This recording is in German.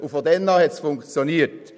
Von da an hat es funktioniert.